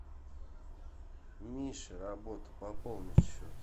миша работа пополнить счет